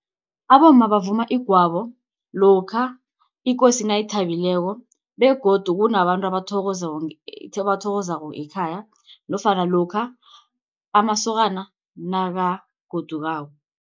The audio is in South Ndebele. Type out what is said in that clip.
Abomma bavuma igwabo lokha ikosi nayithabileko begodu kunabantu abathokozako abathokozako ekhaya nofana lokha amasokana nakagodukako.